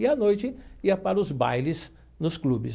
E, à noite, ia para os bailes nos clubes.